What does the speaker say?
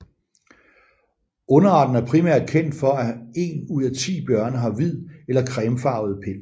Underarten er primært kendt for at 1 ud af 10 bjørne har hvid eller cremefarvet pels